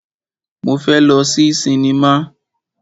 Mo fẹ́ lọ sí sinimá.